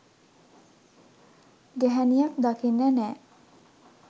ගැහැනියක් දකින්න නෑ.